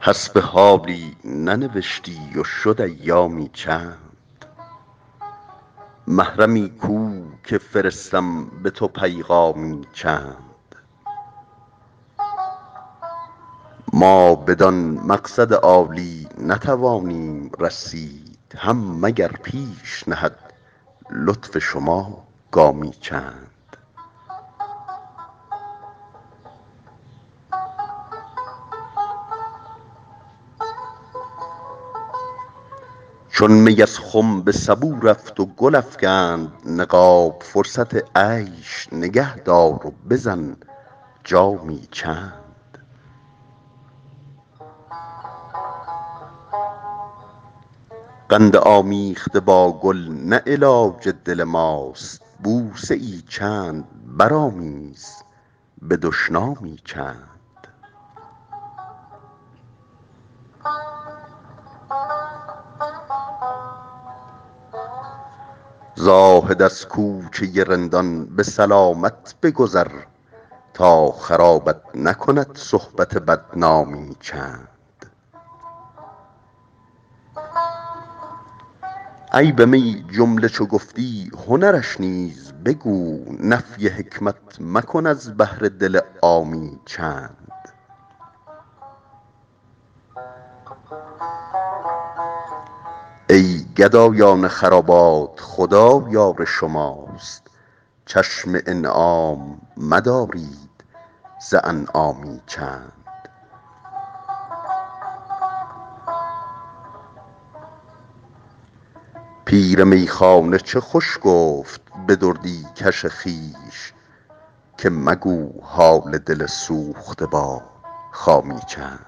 حسب حالی ننوشتی و شد ایامی چند محرمی کو که فرستم به تو پیغامی چند ما بدان مقصد عالی نتوانیم رسید هم مگر پیش نهد لطف شما گامی چند چون می از خم به سبو رفت و گل افکند نقاب فرصت عیش نگه دار و بزن جامی چند قند آمیخته با گل نه علاج دل ماست بوسه ای چند برآمیز به دشنامی چند زاهد از کوچه رندان به سلامت بگذر تا خرابت نکند صحبت بدنامی چند عیب می جمله چو گفتی هنرش نیز بگو نفی حکمت مکن از بهر دل عامی چند ای گدایان خرابات خدا یار شماست چشم انعام مدارید ز انعامی چند پیر میخانه چه خوش گفت به دردی کش خویش که مگو حال دل سوخته با خامی چند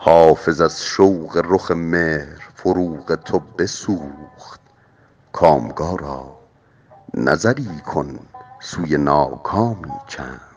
حافظ از شوق رخ مهر فروغ تو بسوخت کامگارا نظری کن سوی ناکامی چند